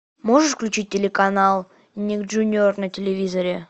можешь включить телеканал ник джуниор на телевизоре